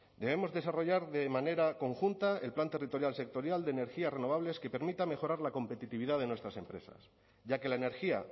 debemos desarrollar de manera conjunta el plan territorial sectorial de energías renovables que permita mejorar la competitividad de nuestras empresas ya que la energía